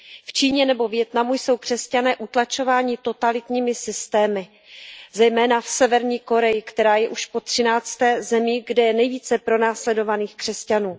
V Číně nebo Vietnamu jsou křesťané utlačováni totalitními systémy, zejména v Severní Koreji, která je už po třinácté zemí, kde je nejvíce pronásledovaných křesťanů.